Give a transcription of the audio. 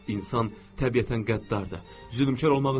İnsan təbiətən qəddardır, zülmkar olmağı sevir.